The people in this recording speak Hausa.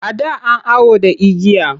A da an awo da igiya.